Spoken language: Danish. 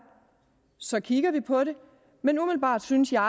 så kigger vi på det men umiddelbart synes jeg